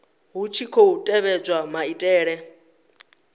hu tshi khou tevhedzwa maitele